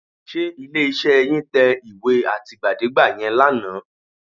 Ṣé ilé-iṣẹ́ yín tẹ ìwé àtìgbàdégbà yẹn lánàá?